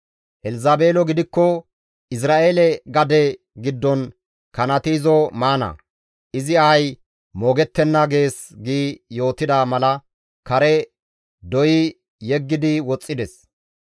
Elzabeelo gidikko Izra7eele gade giddon kanati izo maana; izi ahay moogettenna› gees» gi yootida mala kare doyi yeggidi woxxides.